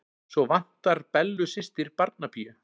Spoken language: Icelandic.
Svo vantar Bellu systur barnapíu.